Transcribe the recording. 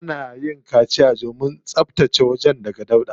Ana yin kaciya domin tsabtace wajen daga dauɗa.